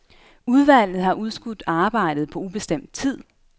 Udvalget har udskudt arbejdet på ubestemt tid.